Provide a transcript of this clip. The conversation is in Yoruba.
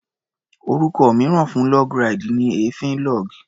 Orúkọ mìíràn fún log ride ni èéfín log.